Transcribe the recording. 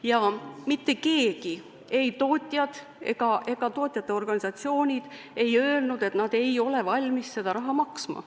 Ja mitte keegi, ei tootjad ega tootjate organisatsioonid ole öelnud, et nad ei ole valmis seda raha maksma.